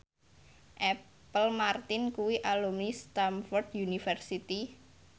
Apple Martin kuwi alumni Stamford University